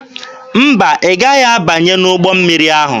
Mba, ị gaghị abanye n'ụgbọ mmiri ahụ.